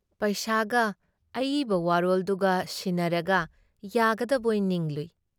ꯄꯩꯁꯥꯒ ꯑꯏꯕ ꯋꯥꯔꯣꯜꯗꯨꯒ ꯁꯤꯟꯅꯔꯒ ꯌꯥꯒꯗꯕꯣꯏ ꯅꯤꯡꯂꯨꯏ ꯫